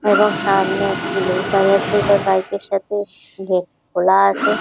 এবং সামনে একটি লোক দাঁড়িয়ে আছে একটা বাইকে এর সাথে খোলা আছে।